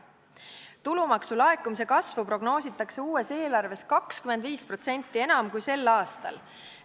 Tulumaksu laekumise kasvu prognoositakse uues eelarves 25% enam kui sel aastal.